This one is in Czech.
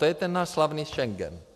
To je ten náš slavný Schengen.